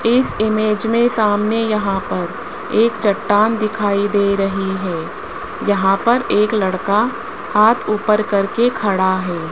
इस इमेज में सामने यहां पर एक चट्टान दिखाई दे रही है यहां पर एक लड़का हाथ ऊपर करके खड़ा है।